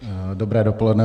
Dobré dopoledne.